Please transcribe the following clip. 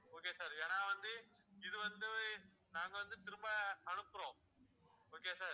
okay sir ஏன்னாவந்து இது வந்து நாங்க வந்து திரும்ப அனுப்புறோம் okay வா sir